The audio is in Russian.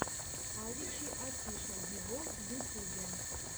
авичи офишел вево в ютюбе